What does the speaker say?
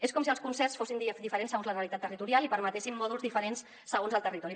és com si els concerts fossin diferents segons la realitat territorial i permetessin mòduls diferents segons el territori